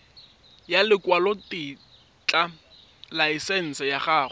ya lekwalotetla laesense ya go